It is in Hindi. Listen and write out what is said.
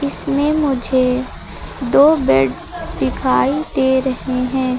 इसमें मुझे दो बेड दिखाई दे रहे हैं।